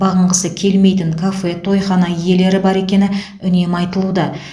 бағынғысы келмейтін кафе тойхана иелері бар екені үнемі айтылуда